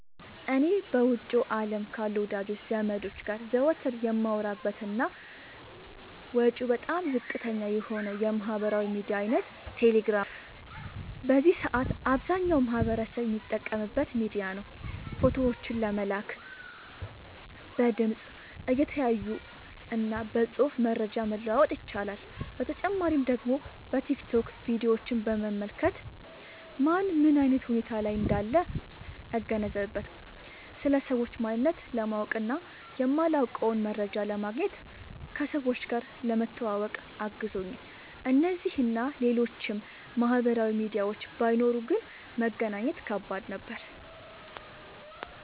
እኔ በውጭው አለም ካሉ ወዳጅ ዘመዶቸ ጋር ዘወትር የማወራበት እና ወጪው በጣም ዝቅተኛ የሆነው የማህበራዊ ሚዲያ አይነት ቴሌግራም ነው። በዚህ ሰአት አብዛኛው ማህበረሰብ የሚጠቀምበት ሚዲያ ነው። ፎቶዎችን ለመላላክ፣ በድምፅ(እየተያዩ) እና በፅሁፍ መረጃ መለዋወጥ ይቻላል። በተጨማሪ ደግሞ በቲክቶክ ቪዲዮችን በመመልከት ማን ምን አይነት ሁኔታ ላይ እንዳለ እገነዘብበታለሁ። ስለ ሰዎች ማንነት ለማወቅ እና የማላውቀውን መረጃ ለማግኘት፣ ከሰዎች ጋር ለመተዋወቅ አግዞኛል። እነዚህ እና ሌሎችም ማህበራዊ ሚዲያዎች ባይኖሩ ግን መገናኘት ከባድ ነበር።